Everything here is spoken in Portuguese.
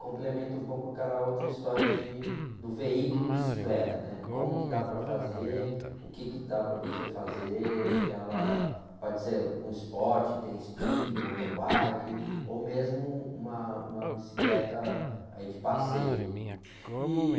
complementa um pouco aquela outra história de, do veículo bicicleta, né? Como que dá para fazer, o que que dá para você fazer, que ela, pode ser um esporte, tem speed, mountain bike, ou mesmo uma uma bicicleta aí de passeio. E...